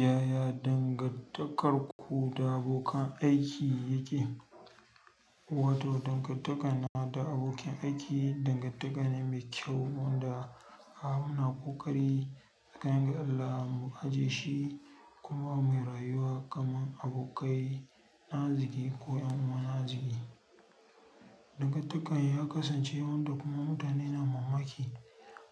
Yaya dangantakarku da abokan aiki yake? Wato dangantakana da abokin aiki, dangantaka ne mai kyau wanda ana ƙoƙari tsakani da Allah mu ajiye shi kuma mai rayuwa kamar abokai na arziki ko ƴan uwa na arziki. Dangantakar ya kasance wanda kuma mutane na mammaki